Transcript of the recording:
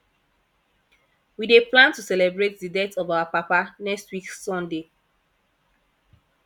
we dey plan to celebrate the death of our papa next week sunday